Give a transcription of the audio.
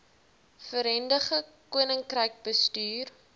verenigde koninkryk bestuur